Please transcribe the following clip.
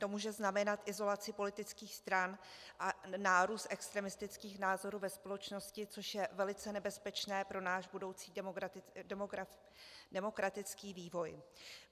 To může znamenat izolaci politických stran a nárůst extremistických názorů ve společnosti, což je velice nebezpečné pro náš budoucí demokratický vývoj.